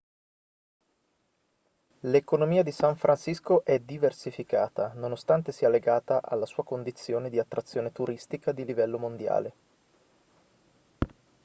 l'economia di san francisco è diversificata nonostante sia legata alla sua condizione di attrazione turistica di livello mondiale